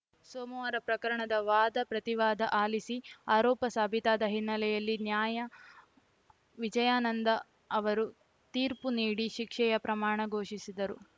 ಸೋಮುವಾರ ಪ್ರಕರಣದ ವಾದಪ್ರತಿವಾದ ಆಲಿಸಿ ಆರೋಪ ಸಾಬೀತಾದ ಹಿನ್ನೆಲೆಯಲ್ಲಿ ನ್ಯಾಯ ವಿಜಯಾನಂದ ಅವರು ತೀರ್ಪು ನೀಡಿ ಶಿಕ್ಷೆಯ ಪ್ರಮಾಣ ಘೋಷಿಸಿದರು